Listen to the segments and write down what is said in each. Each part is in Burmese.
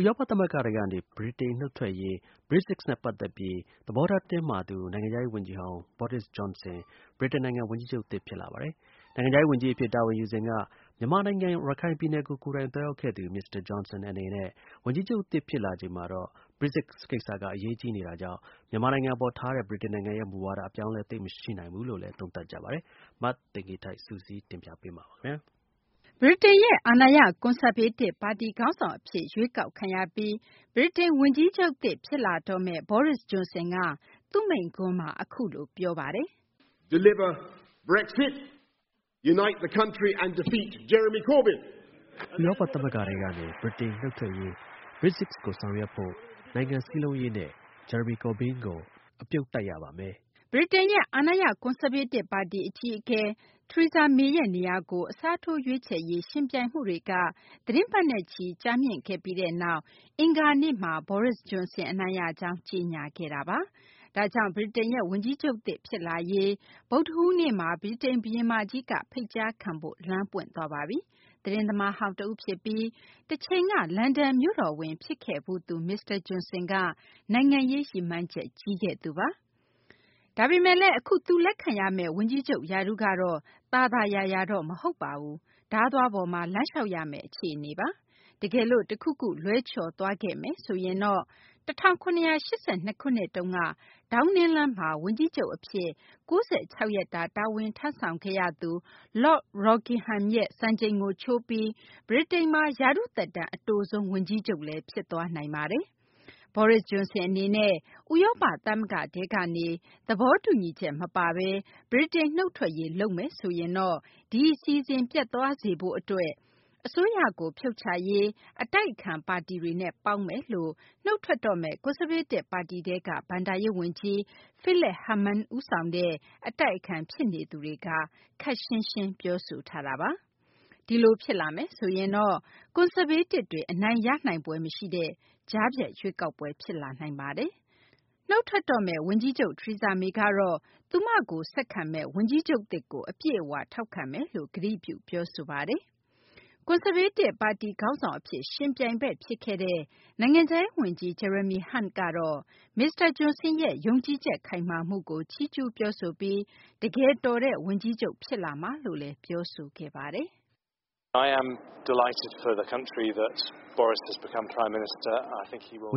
ဥရောပ သမဂ္ဂထဲကနေ ဗြိတိန် နုတ်ထွက်ရေး Brexit နဲ့ ပတ်သက်ပြီး သဘောထား တင်းမာသူ နိုင်ငံခြားရေး ဝန်ကြီးဟောင်း Boris Johnson က ဗြိတိန် ဝန်ကြီးချုပ်သစ် အဖြစ် ရွေးကောက်ခံရပါတယ်။ နိုင်ငံခြားရေး ဝန်ကြီးအဖြစ် တာဝန်ယူစဉ်က မြန်မာနိုင်ငံ ရခိုင်ပြည်နယ်ကို ကိုယ်တိုင်သွားရောက်ခဲ့သူ မစ္စတာ Johnson အနေနဲ့ ဝန်ကြီးချုပ်သစ် ဖြစ်လာချိန်မှာတော့ Brexit ကိစ္စက အရေးကြီးနေတာကြောင့် မြန်မာနိုင်ငံ အပေါ်ထားတဲ့ ဗြိတိန်ရဲ့ မူဝါဒ အပြောင်းအလဲ သိပ်မရှိနိုင်ဘူးလို့လည်း သုံးသပ်ကြပါတယ်။ မသိင်္ဂ ီထိုက် စုစည်းတင်ပြပေးမှာပါ။ ဗြိတိန်ရဲ့ အာဏာရ ကွန်ဆာဗေးတစ် ပါတီခေါင်းဆောင် အဖြစ် ရွေးကောက်ခံရပြီး ဗြိတိန် ဝန်ကြီးချုပ်သစ် ဖြစ်လာတော့မယ့် Boris Johnson က သူ့မိန့်ခွန်းမှာ အခုလို ပြောဆိုခဲ့ပါတယ်။ "ဥရောပ သမဂ္ဂထဲကနေ ဗြိတိန် နုတ်ထွက်ရေး Brexit ကို ဆောင်ရွက်ဖို့၊ နိုင်ငံစည်းလုံးရေးနဲ့ Jaramy Corbyn ကို အပြုတ်တိုက်ရပါမယ်။" ဗြိတိန်ရဲ့ အာဏာရ ကွန်ဆာဗေးတစ် ပါတီအကြီးအကဲ Theresa May ရဲ့ နေရာကို အစားထိုးရွေးချယ်ရေး ယှဉ်ပြိုင်မှုတွေက သီတင်းပတ်နဲ့ချီ ကြာမြင့်ခဲ့ပြီးနောက် အင်္ဂါနေ့မှာတော့ Boris Johnson အနိုင်ရကြောင်း ကြေညာခဲ့ပါပြီ။ ဒါကြောင့် ဗြိတိန်ရဲ့ ဝန်ကြီးချုပ်သစ် ဖြစ်လာရေး အတွက် ဗုဒ္ဓဟူးနေ့မှာ ဗြိတိန် ဘုရင်မကြီးက ဖိတ်ကြားခံဖို့ လမ်းပွင့်သွားပါပြီ။ သတင်းသမားဟောင်း တဦးဖြစ်ပြီး တချိန်က လန်ဒန်မြို့တော်ဝန် ဖြစ်ခဲ့ဖူးသူ မစ္စတာ Johnson က နိုင်ငံရေး ရည်မှန်းချက် ကြီးခဲ့သူပါ။ ဒါပေမယ့်လည်း အခု သူ လက်ခံရမယ့် ဝန်ကြီးချုပ် ရာထူးကတော့ သာသာယာယာတော့ မဟုတ်ပါဘူး ဓားသွားပေါ်မှာ လမ်းလျှောက်ရမယ့် အခြေအနေပါ။ တကယ်လို့ တခုခု လွဲချော်သွားခဲ့မယ်ဆိုရင်တော့ ၁၇၈၂ ခုနှစ်တုန်းက ဒေါင်းနင်းလမ်းမှာ ဝန်ကြီးချုပ် အဖြစ် ၉၆ ရက်တာ တာဝန်ထမ်းဆောင်ခဲ့ရသူ Lord Rockingham ရဲ့ စံချိန်ကို ချိုးပြီး ဗြိတိန်မှာ ရာထူးသက်တမ်း အတိုဆုံး ဝန်ကြီးချုပ်လည်း ဖြစ်သွားနိုင်ပါတယ်။ Boris Johnson အနေနဲ့ ဥရောပ သမဂ္ဂထဲကနေ သဘောတူညီချက် မပါဘဲ ဗြိတိန် နုတ်ထွက်ရေး လုပ်မယ်ဆိုရင်တော့ ဒီအစီအစဉ် ပျက်သွားစေဖို့ အတွက် အစိုးရကို ဖြုတ်ချရေး အတိုက်အခံ ပါတီတွေနဲ့ ပေါင်းမယ်လို့ နုတ်ထွက်တော့မယ့် ကွန်ဆာဗေးတစ် ပါတီထဲက ဘဏ္ဍာရေး ဝန်ကြီး Philip Hammond ဦးဆောင်တဲ့ အတိုက်အခံ ဖြစ်နေသူတွေက ခပ်ရှင်းရှင်း ပြောဆိုထားတာပါ။ ဒီလို ဖြစ်လာမယ်ဆိုရင်တော့ ကွန်ဆာဗေးတစ်တွေ အနိုင်ရနိုင်ဖွယ် မရှိတဲ့ ကြားဖြတ်ရွေးကောက်ပွဲ ဖြစ်လာနိုင်တာပါ။ နုတ်ထွက်တော့မယ့် ဝန်ကြီးချုပ် Theresa May ကတော့ သူမကို ဆက်ခံမယ့် ဝန်ကြီးချုပ်သစ်ကို အပြည့်အ၀ ထောက်ခံမယ်လို့ ကတိပြု ပြောဆိုခဲ့ပါတယ်။ ကွန်ဆာဗေးတစ် ပါတီခေါင်းဆောင် အဖြစ် ယှဉ်ပြိုင်ဘက် ဖြစ်ခဲ့တဲ့ နိုင်ငံခြားရေး ဝန်ကြီး Jeremy Hunt ကတော့ မစ္စတာ Johnson ရဲ့ ယုံကြည်ချက် ခိုင်မာမှုကို ချီးကျူး ပြောဆိုပြီး တကယ်တော်တဲ့ ဝန်ကြီးချုပ် ဖြစ်လာမှာပါလို့ ပြောဆိုခဲ့ပါတယ်။ "ဝ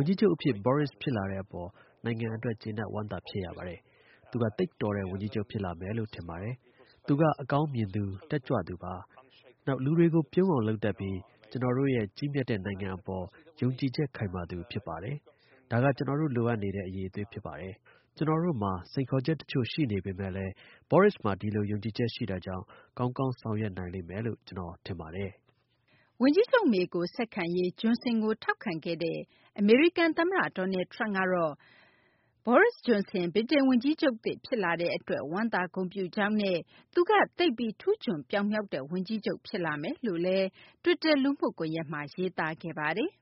န်ကြီးချုပ် အဖြစ် Boris ဖြစ်လာတဲ့ အပေါ် နိုင်ငံအတွက် ကျေနပ်ဝမ်းသာ ဖြစ်ရပါတယ်။ သူက သိပ်တော်တဲ့ ဝန်ကြီးချုပ် ဖြစ်လာမယ်လို့ ထင်ပါတယ်။ သူက အကောင်မြင်သူ၊ တက်ကြွသူပါ။ နောက် လူတွေကို ပြုံးအောင် လုပ်တတ်ပြီး ကျနော်တို့ရဲ့ ကြီးမြတ်တဲ့ နိုင်ငံအပေါ် ယုံကြည်ချက် ခိုင်မာသူ ဖြစ်ပါတယ်။ ဒါက ကျနော်တို့ လိုအပ်နေတဲ့ အရည်အသွေးဖြစ်ပါတယ်။ ကျနော်တို့မှာ စိန်ခေါ်ချက် တချို့ ရှိပေမယ့်လည်း Boris မှာ ဒီလို ယုံကြည်ချက် ရှိတာကြောင့် ကောင်းကောင်း ဆောင်ရွက်နိုင်မယ်လို့ ကျနော် ထင်ပါတယ်။" ဝန်ကြီးချုပ် မေကို ဆက်ခံရေး Johnson ကို ထောက်ခံခဲ့တဲ့ အမေရိကန် သမ္မတ Donald Trump ကတော့ Boris Johnson ဗြိတိန် ဝန်ကြီးချုပ်သစ် ဖြစ်လာတဲ့ အတွက် ဝမ်းသာ ဂုဏ်ပြုကြောင်းနဲ့ သူက သိပ်ပြီး ထူးချွန်ပြောင်မြောက်တဲ့ ဝန်ကြီးချုပ် ဖြစ်လာမယ်လို့လည်း တွစ်တာ လူမှုကွန်ယက်မှာ ရေးသားခဲ့ပါတယ်။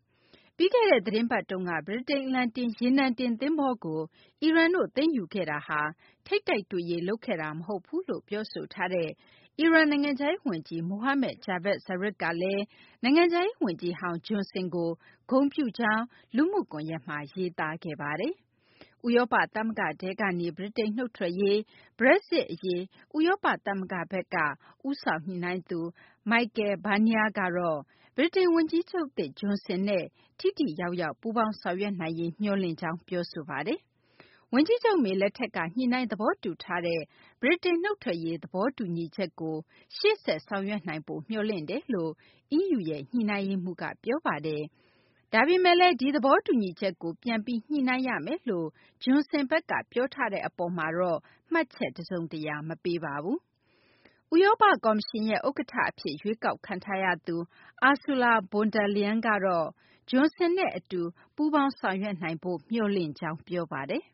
ပြီးခဲ့တဲ့ သတင်းပတ်တုန်းက ဗြိတိန် အလံတင် ရေနံတင် သဘောၤကို အီရန်တို့ သိမ်းယူခဲ့တာဟာ ထိပ်တိုက်တွေ့ရေး လုပ်ခဲ့တာ မဟုတ်ဘူးလို့ ပြောဆိုထားတဲ့ အီရန် နိုင်ငံခြားရေး ဝန်ကြီး Mohammad Javad Zarif ကလည်း နိုင်ငံခြားရေး ဝန်ကြီးဟောင်း Johnson ကို ဂုဏ်ပြုကြောင်း လူမှုကွန်ယက်မှာ ရေးသားခဲ့ပါတယ်။ ဥရောပ သမဂ္ဂထဲကနေ ဗြိတိန်နုတ်ထွက်ရေး Brexit အရေး ဥရောပ သမဂ္ဂရဲ့ ဦးဆောင်ညှိနှိုင်းသူ Michel Barnier ကတော့ ဗြိတိန် ဝန်ကြီးချုပ်သစ် Johnson နဲ့ ထိထိရောက်ရောက် ပူးပေါင်းဆောင်ရွက်နိုင်ရေး မျှော်လင့်ကြောင်း ပြောဆိုခဲ့ပါတယ်။ ဝန်ကြီးချုပ် May လက်ထက်က ညှိနှိုင်း သဘောတူထားတဲ့ ဗြိတိန် နုတ်ထွက်ရေး သဘောတူညီချက်ကို ရှေ့ဆက် ဆောင်ရွက်နိုင်ဖို့ မျှော်လင့်တယ်လို့ EU ရဲ့ ညှိနှိုင်းရေးမှူး Barnier က ပြောဆိုခဲ့ပါတယ်။ ဒါပေမယ့် ဒီသဘောတူညီချက်ကို ပြန်ပြီး ညှိနှိုင်းရမယ်လို့ Johnson ဘက်က ပြောထားတဲ့ အပေါ်မှာတော့ မှတ်ချက် တစုံတရာ မပေးခဲ့ပါဘူး။ ဥရောပ ကော်မရှင်ရဲ့ ဥက္ကဌ အဖြစ် ရွေးကောက်ခံထားရသူ Ursula von der Leyen ကတော့ Johnson နဲ့ အတူး ပူးပေါင်းဆောင်ရွက်နိုင်ဖို့ မျှော်လင့်ကြောင်း ပြောဆိုပါတယ်။ "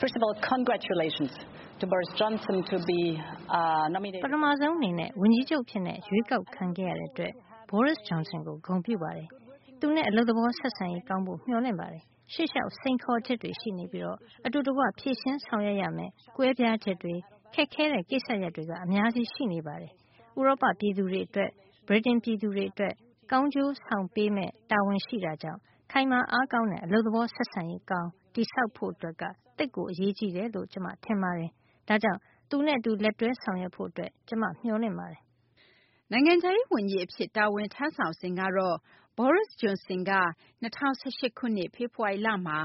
ပထမဆုံး အနေနဲ့ ဝန်ကြီးချုပ်အဖြစ် ရွေးကောက်ခံရတဲ့ အတွက် Boris Johnson ကို ဂုဏ်ပြုပါတယ်။ သူနဲ့ အလုပ်သဘော ဆက်ဆံရေး ကောင်းဖို့ မျှော်လင့်ပါတယ်။ ရှေ့လျှောက် စိန်ခေါ်ချက်တွေ ရှိနေပြီး အတူတကွ ဖြေရှင်းဆောင်ရွက်ရမယ့် ကွဲပြားချက်တွေ၊ ခက်ခဲတဲ့ ကိစ္စရပ်တွေ အများကြီး ရှိနေပါတယ်။ ဥရောပ ပြည်သူတွေအတွက် ဗြိတိန် ပြည်သူတွေ အတွက် ကောင်းကျိုးဆောင်ပေးရမယ့် တာဝန်ရှိတာကြောင့် ခိုင်မာအားကောင်းတဲ့ အလုပ်သဘော ဆက်ဆံရေး ကောင်း တည်ဆောက်ဖို့က သိပ် အရေးကြီးတယ်လို့ ကျမ ထင်ပါတယ်။ ဒါကြောင့် သူနဲ့ အတူ လက်တွဲ ဆောင်ရွက်ဖို့ အတွက် ကျမ မျှော်လင့်ပါတယ်။" နိုင်ငံရေးခြားရေး ဝန်ကြီး အဖြစ် တာဝန်ထမ်းဆောင်စဉ်ကတော့ Boris Johnson က ၂၀၁၈ ခုနှစ် ဖေဖော်ဝါရီလမှာ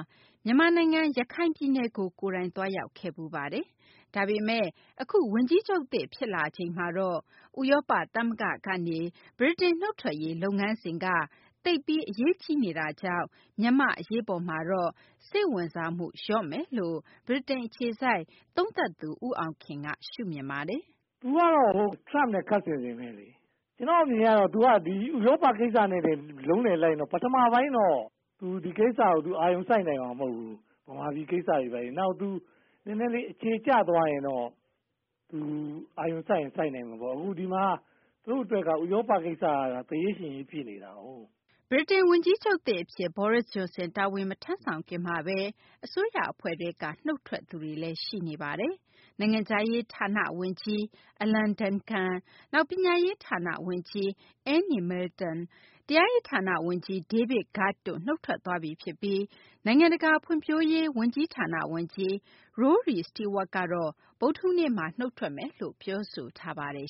မြန်မာနိုင်ငံ ရခိုင်ပြည်နယ်ကို ကိုယ်တိုင်သွားရောက်ခဲ့ဖူးပါတယ်။ ဒါပေမယ့် အခု ဗြိတိန် ဝန်ကြီးချုပ်သစ် ဖြစ်လာချိန်မှာတော့ ဥရောပ သမဂ္ဂထဲကနေ ဗြိတိန် နုတ်ထွက်ရေး လုပ်ငန်းစဉ်က သိပ်ပြီး အရေးကြီးနေတာကြောင့် မြန်မာ့ အရေးပေါ်မှာတော့ စိတ်ဝင်စားမှု လျော့မယ်လို့လည်း ဗြိတိန် အခြေစိုက် သုံးသပ်သူ ဦးအောင်ခင်က ရှုမြင်ပါတယ်။ " ကျနော့်အမြင်ကတော့ သူက ဒီဥရောပကိစ္စနဲ့ပဲ လုံးလည်လိုက်နေတော့ ပထမပိုင်းတော့ သူ အာရုံစိုက်နိုင်မှာတော့မဟုတ်ဘူး။ မြန်မာပြည်ကိစ္စတွေဘာတွေ နည်းနည်းလေးအခြေကျသွားရင်တော့ သူအာရုံစိုက်ရင် စိုက်နိုင်မှာပေါ့။ ဒီမှာ သူ့အတွက်က ဥရောပကိစ္စက သေရေးရှင်ရေးဖြစ်နေတာကို " ဗြိတိန် ဝန်ကြီးချုပ်သစ် အဖြစ် Boris Johnson တာဝန်မထမ်းဆောင်ခင်မှာဘဲ အစိုးရ အဖွဲ့ထဲက နုတ်ထွက်သူတွေလည်း ရှိနေပါတယ်။ နိုင်ငံခြားရေး ဌာန ဝန်ကြီး Alan Duncan၊ နောက် ပညာရေး ဌာန ဝန်ကြီး Anne Milton၊ တရားရေးဌာန ဝန်ကြီး David Gauke တို့ နုတ်ထွက်သွားပြီ ဖြစ်ပြီး နိုင်ငံတကာ ဖွံ့ဖြိုးရေး ဝန်ကြီးဌာန ဝန်ကြီး Rory Stewart ကတော့ ဗုဒ္ဓဟူးနေ့မှာ နုတ်ထွက်မယ်လို့ ပြောဆိုထားပါတယ်